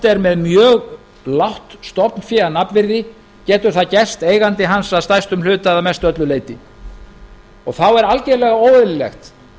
er með mjög lágt stofnfé að nafnvirði getur það gerst eigandi hans að stærstum hluta eða að mestöllu leyti þá er algerlega óeðlilegt